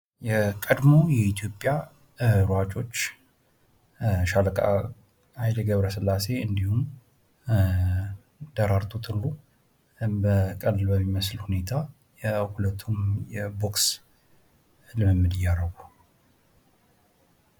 የቀድሞ የኢትዮጵያ ሯጮች ሻለቃ ኃይሌ ገብረስላሴ እንድሁም ደራርቱ ቱሉ ቀልድ በሚመስል ሁኔታ የሁለቱም የቦክስ ልምምድ እያረጉ።